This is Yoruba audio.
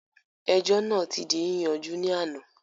Ẹjọ́ náà ti di yíyanjú ní àná